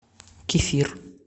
кефир